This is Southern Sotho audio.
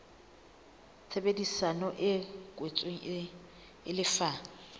tshebedisano e kwetsweng e lefa